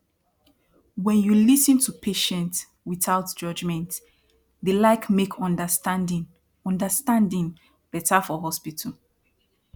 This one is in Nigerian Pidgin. wen you lis ten to patient without judgment dey like make understanding understanding beta for hospital